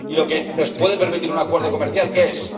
Y lo que nos puede permitir un acuerdo comercial, ¿qué es?